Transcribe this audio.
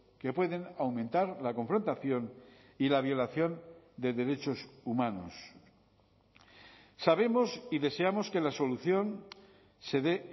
que pueden aumentar la confrontación y la violación de derechos humanos sabemos y deseamos que la solución se dé